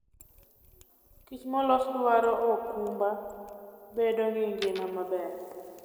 Kich molos dwaro okumba bedo gi ngima maber.